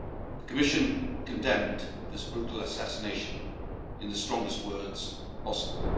The Commission condemned this brutal assassination in the strongest words possible.